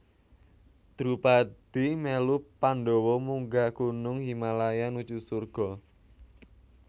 Drupadi melu Pandhawa munggah gunung Himalaya nuju surga